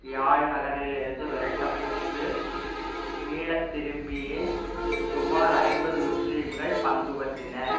யாழ் நகரிலிருந்தும் விரட்டப்பட்டு மீளத்திரும்பிய சுமார் ஐம்பது முஸ்லிம்கள் பங்குபற்றினர்